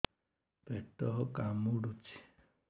ପେଟ କାମୁଡୁଛି